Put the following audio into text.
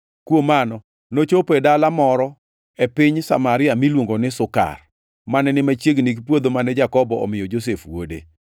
Kuom mano, nochopo e dala moro e piny Samaria miluongo ni Sukar, mane ni machiegni gi puodho mane Jakobo omiyo Josef wuode.